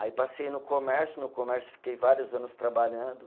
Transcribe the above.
Aí passei no comércio, no comércio fiquei vários anos trabalhando.